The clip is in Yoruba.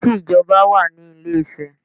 There is an express way in Ilé Ife